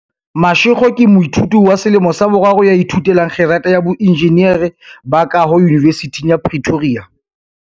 Mashego ke moithuti wa selemo sa boraro ya ithute lang kgerata ya boenjinere ba kaho Yunivesithing ya Pretoria.